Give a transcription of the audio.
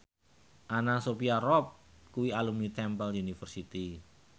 Anna Sophia Robb kuwi alumni Temple University